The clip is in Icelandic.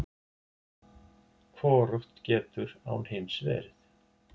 Hvorugt getur án hins verið!